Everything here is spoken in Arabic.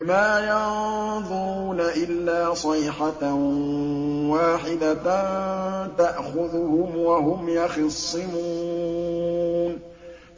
مَا يَنظُرُونَ إِلَّا صَيْحَةً وَاحِدَةً تَأْخُذُهُمْ وَهُمْ يَخِصِّمُونَ